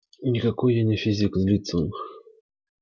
никакой я не физик злится он